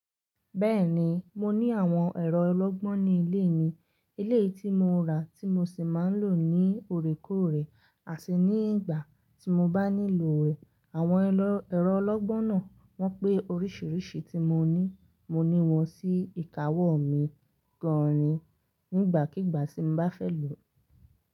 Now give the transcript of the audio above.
Bẹ́ẹ̀ni, mo ní àwọn ẹ̀rọ ọlọ́gbọ́n ní ilé mi, eleyi tí mo rà tí mo sì máa ń lò ní òrékóòrè àti ní ìgbà tí mo bá nílò rẹ̀. Àwọn ẹ̀rọ ọlọ́gbọ́n náà wọ́n pé oríṣiríṣi tí mo ní. Mo ní wọn sí ìkáwó mi gann ni nígbàkígbà tí m bá fẹ́ lò.